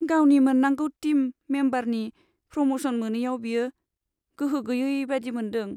गावनि मोन्नांगौ टिम मेम्बारनि प्रम'सन मोनैयाव बियो गोहो गैयै बायदि मोन्दों।